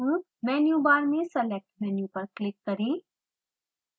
मेनू bar में select menu पर click करें